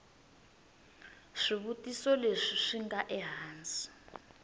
swivutiso leswi swi nga ehansi